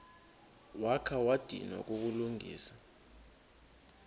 wakha wadinwa kukulungisa